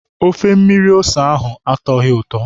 Ofe mmiri ose ahụ atọghị ụtọ.